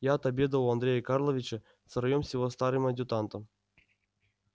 я отобедал у андрея карловича втроём с его старым адъютантом